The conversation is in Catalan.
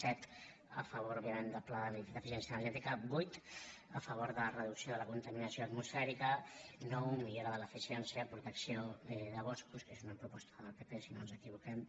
set a favor òbviament del pla d’eficiència energètica vuit a favor de la reducció de la contaminació atmosfèrica nou millorar l’eficiència protecció de boscos que és una proposta del pp si no ens equivoquem